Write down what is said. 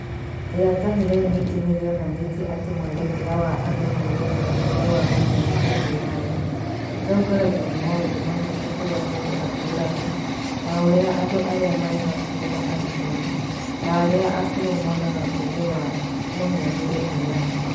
Iratathi rĩu ningĩ nĩ rĩonanĩtie atĩ mwerekera wa andũ kwerekera ũũgĩ wa mũhianĩre (AI)ũtongoragio nĩ maũndũ mamwe ta kũrĩa mũndũ atũũraga, na ũrĩa andũ arĩa marĩ hakuhĩ na arutani, ta arĩa akũrũ monaga ũũgĩ wa mũhianĩre (AI)